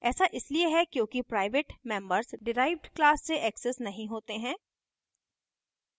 ऐसा इसलिए है क्योंकि प्राइवेट members डिराइव्ड class से accessed नहीं होते हैं